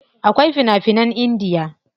Akwai fina finan Indiya.